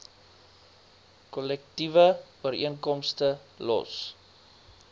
kollektiewe ooreenkomste los